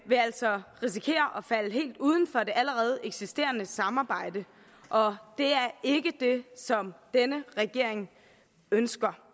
vil altså risikere at falde helt uden for det allerede eksisterende samarbejde og det er ikke det som denne regering ønsker